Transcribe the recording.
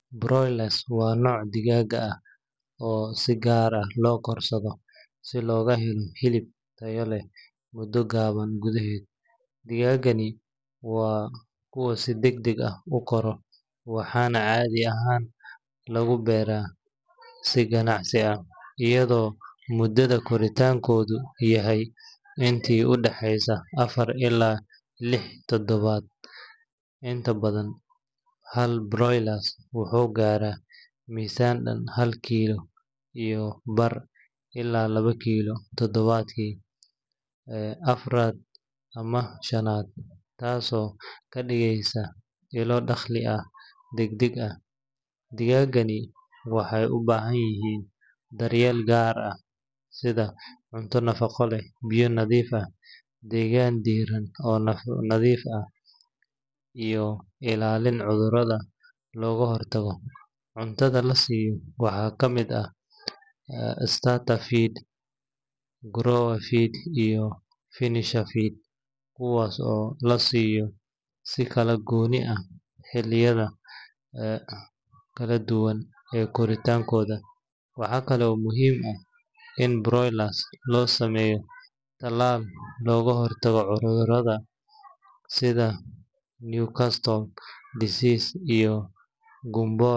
Broilers waa nooc digaag ah oo si gaar ah loo korsado si loogu helo hilib tayo leh muddo gaaban gudaheed. Digaaggani waa kuwa si degdeg ah u kora, waxaana caadi ahaan lagu beeraa si ganacsi ah, iyadoo mudada koritaankoodu tahay intii u dhaxeysa afar ilaa lix toddobaad. Inta badan, hal broiler wuxuu gaaraa miisaan dhan hal kiilo iyo bar ilaa laba kiilo toddobaadkii afraad ama shanaad, taasoo ka dhigaysa ilo dakhli degdeg ah. Digaaggani waxay u baahan yihiin daryeel gaar ah sida cunto nafaqo leh, biyo nadiif ah, degaan diirran oo nadiif ah, iyo ilaalin cudurrada looga hortago. Cuntada la siiyo waxaa ka mid ah starter feed, grower feed, iyo finisher feed, kuwaas oo la siiyo si kala goonni ah xilliyada kala duwan ee koritaankooda. Waxa kale oo muhiim ah in broilers loo sameeyo tallaal looga hortago cudurro sida Newcastle disease iyo gumboro.